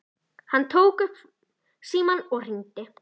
Hann tók upp símann og hringdi.